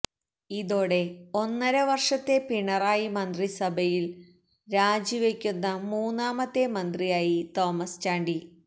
ഇതോടെ ഒന്നര വര്ഷത്തെ പിണറായി മന്ത്രിസഭയില് രാജിവയ്ക്കുന്ന മൂന്നാമത്തെ മന്ത്രിയായി തോമസ് ചാണ്ടി